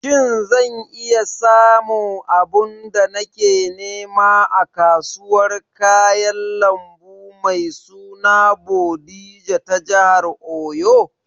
Shin zan samu abin da nake nema a kasuwar kayan lambu mai suna Bodija ta jihar Oyo?